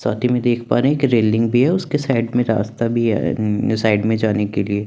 साथ ही में देख पा रहे है की रेलिंग भी है उसके साइड में रास्ता भी है साइड में जाने के लिए --